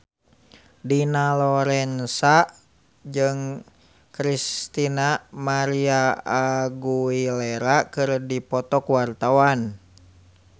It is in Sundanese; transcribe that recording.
Dina Lorenza jeung Christina María Aguilera keur dipoto ku wartawan